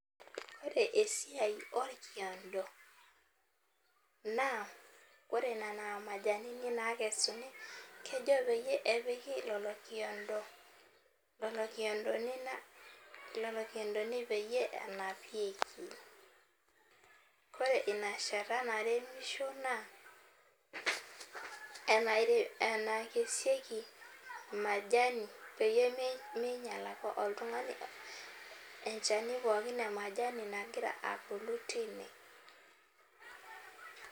Ore esiai orkiondo na ore nona majanini nakesuni kejo peyiepiki lolo kiondo, lolokiondoni peyie enapieki, ore inashata naremisho na enaikesieki majani pemeenyel oltungani enchani pookin emajanu peyie meta abulu tine.